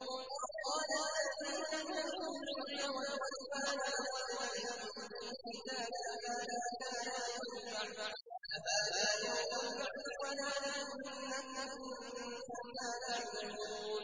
وَقَالَ الَّذِينَ أُوتُوا الْعِلْمَ وَالْإِيمَانَ لَقَدْ لَبِثْتُمْ فِي كِتَابِ اللَّهِ إِلَىٰ يَوْمِ الْبَعْثِ ۖ فَهَٰذَا يَوْمُ الْبَعْثِ وَلَٰكِنَّكُمْ كُنتُمْ لَا تَعْلَمُونَ